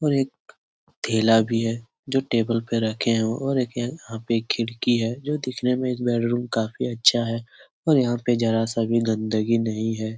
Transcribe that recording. और एक थैला भी है जो टेबल पे रखे है और यहां पे एक खिड़की है जो दिखने में इस बैडरूम काफी अच्छा है और यहां पर जरा सा भी गन्दगी नहीं है।